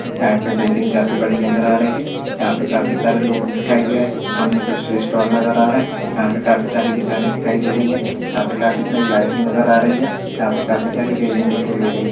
यहाँ पे बिल्डिंग काफी बड़ी नजर आ रही है यहाँ पे काफी सारे लोग दिखाई दे रहे है सामने कुछ स्टॉल नजर आ रहे है यहाँ पे काफी सारी दुकाने दिखाई दे रही है यहाँ पे काफी सारी लाइटिंग नजर आ रही है यहाँ पे काफी सारी रेलिंग दिखाई दे रही है।